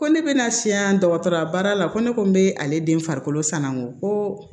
Ko ne bɛna siya dɔgɔtɔrɔya baara la ko ne ko n be ale den farikolo sanango ko